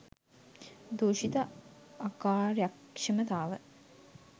දූෂිත අකාර්යක්ෂමතාව